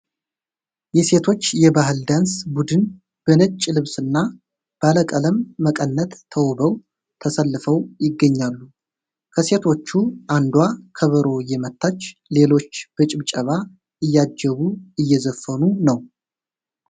የሴቶች የባህል ዳንስ ቡድን በነጭ ልብስና ባለቀለም መቀነት ተውበው ተሰልፈው ይገኛሉ። ከሴቶቹ አንዷ ከበሮ እየመታች ሌሎቹ በጭብጨባ እያጀቡ እየዘፈኑ ነው።